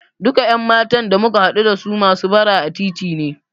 Duka ƴan matan da muka haɗu dasu masu bara a titi ne.